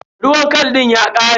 Ruwan khal din ya ƙare.